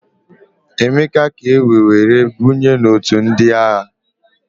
Emeka ka ewee were banye n'òtù ndị agha.